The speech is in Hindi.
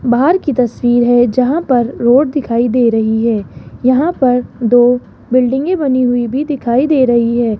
बाहर की तस्वीर है जहां पर रोड दिखाई दे रही है यहां पर दो बिल्डिंगे में बनी हुई भी दिखाई दे रही है।